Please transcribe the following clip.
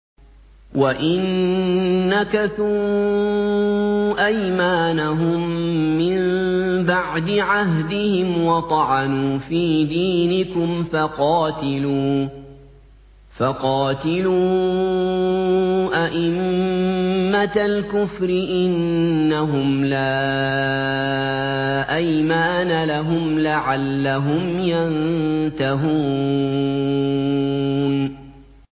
وَإِن نَّكَثُوا أَيْمَانَهُم مِّن بَعْدِ عَهْدِهِمْ وَطَعَنُوا فِي دِينِكُمْ فَقَاتِلُوا أَئِمَّةَ الْكُفْرِ ۙ إِنَّهُمْ لَا أَيْمَانَ لَهُمْ لَعَلَّهُمْ يَنتَهُونَ